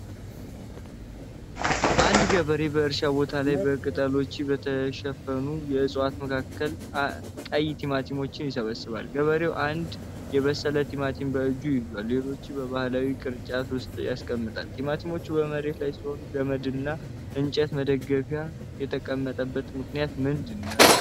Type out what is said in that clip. አንድ ገበሬ በእርሻ ቦታው ላይ በቅጠሎች በተሸፈኑ የእፅዋት መካከል ቀይ ቲማቲሞችን ይሰበስባል። ገበሬው አንድ የበሰለ ቲማቲም በእጁ ሲይዝ፣ ሌሎቹን በባህላዊ ቅርጫት ውስጥ ያስቀምጣል። ቲማቲሞች በመሬት ላይ ሲሆን ገመድና እንጨት መደገፊያ የተጠቀምበት ምክንያት ምንድነው?